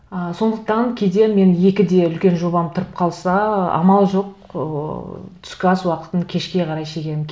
ы сондықтан кейде мен екіде үлкен жобам тұрып қалса амал жоқ ыыы түскі ас уақытын кешке қарай шегемін